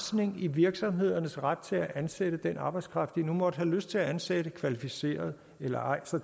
virksomhedernes ret til at ansætte den arbejdskraft de nu måtte have lyst til at ansætte kvalificeret eller ej